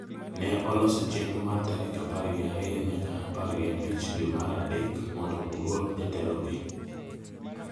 ne oloso chenro mar tarik apar gi ariyo nyaka apar gi abich dwe mar adek mondo ogol jatelogi.